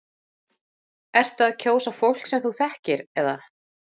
Ertu að kjósa fólk sem þú þekkir eða?